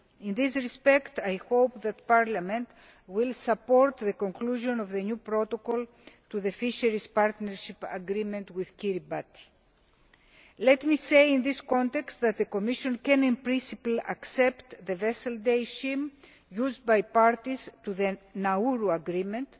In this respect, I hope that Parliament will support the conclusion of the new protocol to the fisheries partnership agreement with Kiribati. Let me say in this context that the Commission can, in principle, accept the Vessel Days Scheme used by parties to the Nauru Agreement,